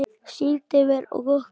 Sýndi mér og okkur